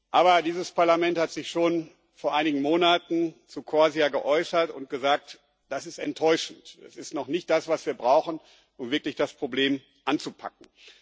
Aber dieses Parlament hat sich schon vor einigen Monaten zu CORSIA geäußert und gesagt Das ist enttäuschend, es ist noch nicht das, was wir brauchen, um wirklich das Problem anzupacken.